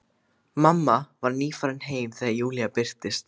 Mamma var nýfarin heim þegar Júlía birtist.